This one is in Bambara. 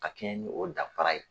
Ka kɛɲɛ ni o danfara ye.